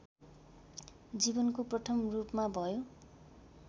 जीवनको प्रथम रूपमा भयो